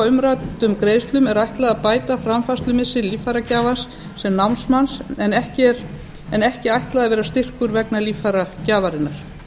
umræddum greiðslum er ætlað að bæta framfærslumissi líffæragjafans sem námsmanns en ekki ætlað að vera styrkur vegna líffæragjafarinnar